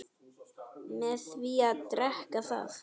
með því að drekka það